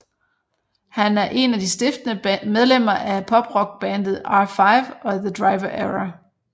Han er en af de stiftende medlemmer af poprock bandet R5 og The Driver Era